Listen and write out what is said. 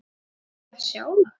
Eigum við að sjá það?